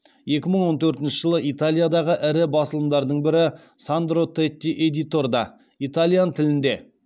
екі мың он төртінші жылы италиядағы ірі басылымдардың бірі сандро тети эдиторда итальян тілінде